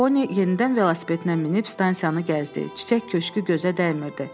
Poni yenidən velosipedinə minib stansiyanı gəzdi, çiçək köşkü gözə dəymirdi.